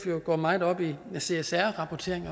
går meget op i csr rapportering